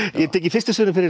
ég tek í fyrstu sögunni fyrir